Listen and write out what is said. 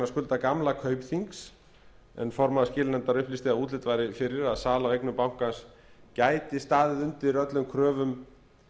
skulda gamla kaupþings en formaður skilanefndar upplýsti að útlit væri fyrir að sala á eignum bankans gæti staðið undir kröfum